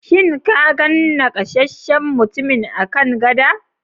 Shin ka gan nakasasshen mutumin a kan gada?